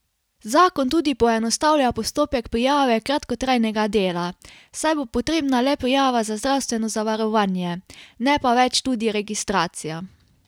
Zakon tudi poenostavlja postopek prijave kratkotrajnega dela, saj bo potrebna le prijava za zdravstveno zavarovanje, ne pa več tudi registracija.